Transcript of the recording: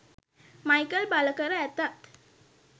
Michael බලකර ඇතත්